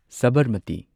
Sabarmati